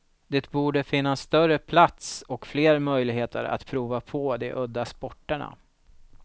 Det borde finnas större plats och fler möjligheter att prova på de udda sporterna.